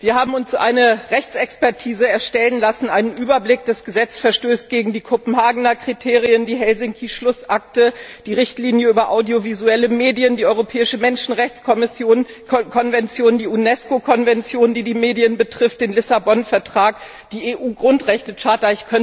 Wir haben uns eine Rechtsexpertise erstellen lassen. Ein Überblick Das Gesetz verstößt gegen die Kopenhagener Kriterien, die Helsinki Schlussakte, die Richtlinie über audiovisuelle Medien, die Europäische Menschenrechtskonvention, die Unesco Konvention, die die Medien betrifft, den Vertrag von Lissabon, die EU Grundrechtecharta.